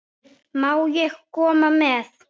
Má ég koma með?